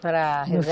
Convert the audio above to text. Para rezar?